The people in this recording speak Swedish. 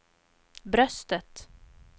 bröstet